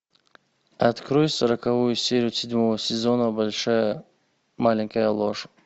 открой сороковую серию седьмого сезона большая маленькая ложь